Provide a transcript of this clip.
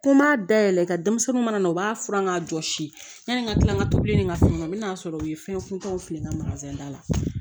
Ko n b'a dayɛlɛn ka denmisɛnninw mana u b'a furan k'a jɔsi yani n ka kila ka tobili ni ka so kɔnɔ n bɛna'a sɔrɔ u ye fɛn funtɛniw fili n ka da la